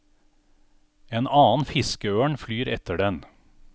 En annen fiskeørn flyr etter den.